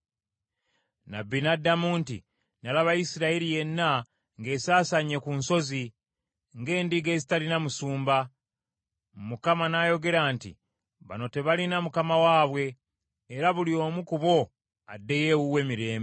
Nnabbi n’addamu nti, “Nalaba Isirayiri yenna ng’esaasaanye ku nsozi, ng’endiga ezitalina musumba.” Mukama n’ayogera nti, “Bano tebalina mukama waabwe, era buli omu ku bbo addeyo ewuwe mirembe.”